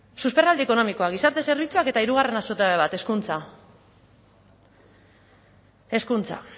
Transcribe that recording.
susperraldi ekonomikoa gizarte zerbitzuak eta hirugarren zutabe bat hezkuntza hezkuntza